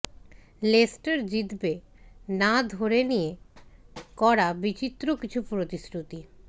Leicester জিতবে না ধরে নিয়ে করা বিচিত্র কিছু প্রতিশ্রুতি